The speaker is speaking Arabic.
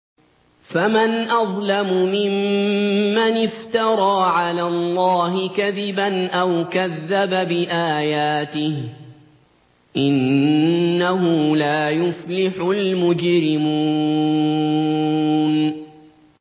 فَمَنْ أَظْلَمُ مِمَّنِ افْتَرَىٰ عَلَى اللَّهِ كَذِبًا أَوْ كَذَّبَ بِآيَاتِهِ ۚ إِنَّهُ لَا يُفْلِحُ الْمُجْرِمُونَ